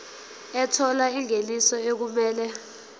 ethola ingeniso okumele